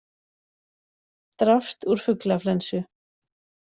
Drapst úr fuglaflensu